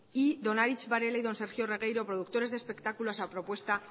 y don aritz varela y don sergio regueiro productores de espectáculos a propuesta